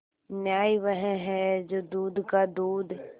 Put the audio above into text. न्याय वह है जो दूध का दूध